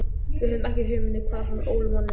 Við höfðum ekki hugmynd um hvar hann ól manninn.